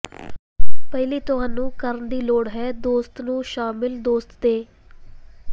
ਪਹਿਲੀ ਤੁਹਾਨੂੰ ਕਰਨ ਦੀ ਲੋੜ ਹੈ ਦੋਸਤ ਨੂੰ ਸ਼ਾਮਿਲ ਦੋਸਤ ਦੇ